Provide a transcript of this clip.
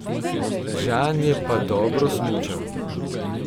Žan je pa dobro smučal.